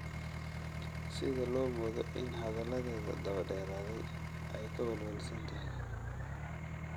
Sida la moodo in hadalladeeda daba-dheeraaday ay ka welwelsan tahay.